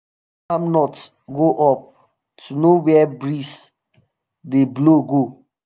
palm nut go up to know where breeze dey dey blow go.